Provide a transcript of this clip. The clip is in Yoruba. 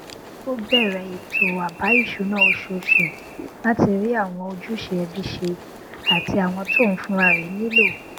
ó bẹrẹ ètò àbá ìṣúná oṣooṣù láti rí àwọn ojúṣe ẹbí ṣe àti àwọn tí òun fúnra rẹ nílò